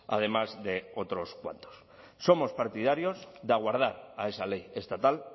además de otros cuantos somos partidarios de aguardar a esa ley estatal